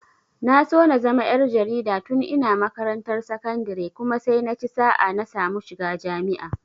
Na so na zama ƴar jarida tun ina makarantar sakandire kuma sai naci sa'a na samu shiga jami'a.